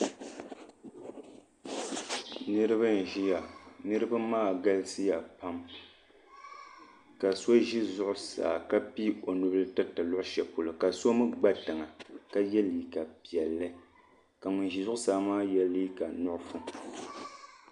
niriba n ʒɛya niriba maa galisya pam ka so ʒɛ zuɣ' saa ka pɛɛi o nubila tɛritɛ kuɣ' shɛli polo ka so mi gba tiŋa ka yɛ liga piɛli ka ŋɔ ʒɛ zuɣ' saa maa yɛ liga nuɣisu